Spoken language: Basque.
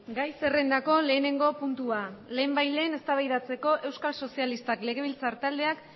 gai zerrendako lehenengo puntua lehenbailehen eztabaidatzeko euskal sozialistak legebiltzar taldeak